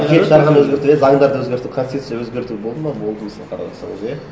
жеті жарғыны өзгертіп еді заңдарды өзгерту конституция өзгерту болды ма болды мысалы қарап отырсаңыз иә